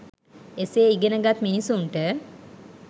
එසේ ඉගෙන ගත් මිනිසුන්ට